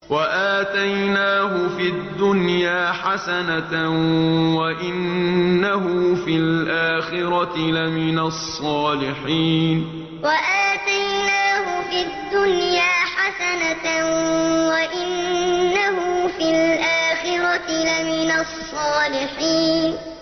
وَآتَيْنَاهُ فِي الدُّنْيَا حَسَنَةً ۖ وَإِنَّهُ فِي الْآخِرَةِ لَمِنَ الصَّالِحِينَ وَآتَيْنَاهُ فِي الدُّنْيَا حَسَنَةً ۖ وَإِنَّهُ فِي الْآخِرَةِ لَمِنَ الصَّالِحِينَ